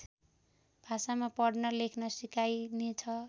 भाषामा पढ्न लेख्न सिकाइनेछ